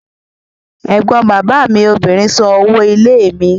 Ẹ̀gbọ́n bàbá mi obìnrin san owó ilé mi.